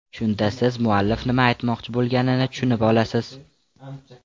Shunda siz muallif nima aytmoqchi bo‘lganini tushunib olasiz.